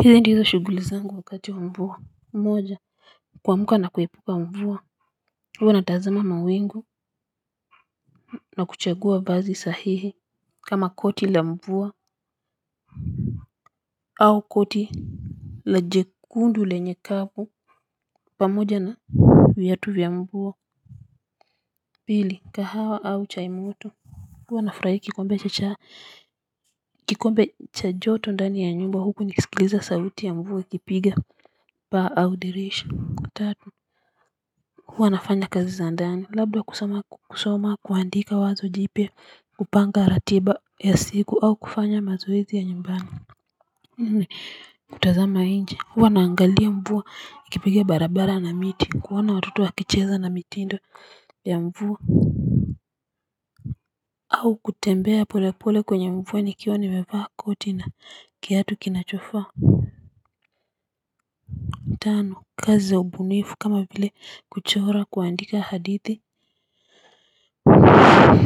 Hizi ndizo shughuli zangu wakati wa mvua, moja kuamka na kuepuka mvua huwa natazama mawingu na kuchagua vazi sahihi kama koti la mvua au koti la jekundu lenye kavu pamoja na viatu vya mvua pili kahawa au chai moto huwa nafurahi kikombe cha chai kikombe cha joto ndani ya nyumba huku nikisikiliza sauti ya mvua ikipiga paa au dirisha tatu huwa nafanya kazi za ndani labda kusoma kuandika wazo jipya kupanga ratiba ya siku au kufanya mazoezi ya nyumbani. Nne kutazama nje huwa naangalia mvua ikipiga barabara na miti kuona watoto wakicheza na mitindo ya mvua au kutembea polepole kwenye mvua nikiwa nimevaa koti na kiatu kinachofaa tano kazi za ubunifu kama vile kuchora kuandika hadithi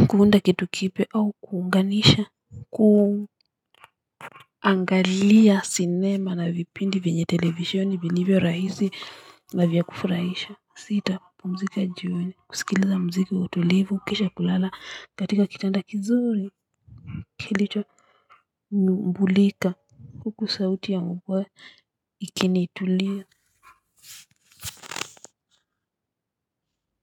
kuunda kitu kipya au kuunganisha kuangalia sinema na vipindi vyenye televisheni vilivyo rahisi na vya kufurahisha sita kupumzika jioni kusikiliza muziki wa utulivu kisha kulala katika kitanda kizuri kilichonyumbulika huku sauti ya mvua ikiniituliza Muzika.